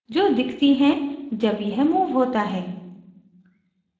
जो दिखती हैं जब यह moved होता है